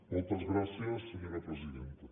moltes gràcies senyora presidenta